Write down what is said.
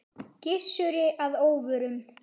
Gissuri að óvörum.